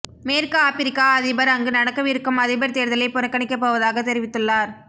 மேற்கு ஆப்பிரிக்கா அதிபர் அங்கு நடக்கவிருக்கும் அதிபர் தேர்தலை புறக்கணிக்கப் போவதாக தெரிவித்துள்ளார்